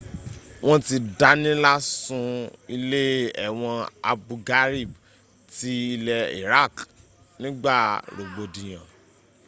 wọ́n ti dánilá sun ilé ẹ̀wọ̀n abu ghraib ti ilẹ̀ iraq nígba rọ̀gbọ̀dìyàn